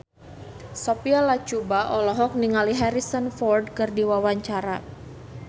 Sophia Latjuba olohok ningali Harrison Ford keur diwawancara